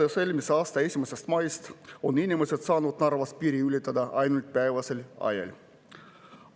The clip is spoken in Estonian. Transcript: Alates eelmise aasta 1. maist on inimesed saanud Narvas piiri ületada ainult päevasel ajal.